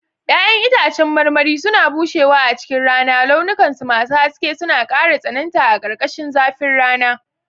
Ya'yan itãcen marmari suna bushewa a cikin rana, launukansu masu haske suna ƙara tsananta a ƙarƙashin zafin rana.